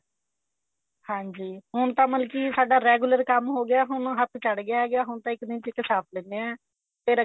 ਹਾਂਜੀ ਹੁਣ ਤਾਂ ਮਤਲਬ ਕਿ ਸਾਡਾ regular ਕੰਮ ਹੋ ਗਿਆ ਹੁਣ ਹੱਥ ਚੜ੍ਹ ਗਿਆ ਹੈਗਾ ਹੁਣ ਤਾਂ ਇੱਕ ਦਿਨ ਚ ਹੀ ਛਾਪ ਦੇਣੇ ਆ ਫੇਰ ਅੱਗੇ